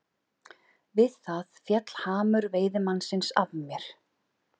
Við það féll hamur veiðimannsins af mér.